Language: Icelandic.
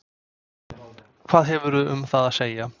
Hvað hefurðu um það að segja?